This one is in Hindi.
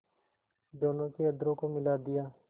दोनों के अधरों को मिला दिया